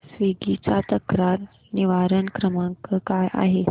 Swiggy चा तक्रार निवारण क्रमांक काय आहे